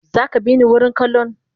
Zaka bini wurin kallon?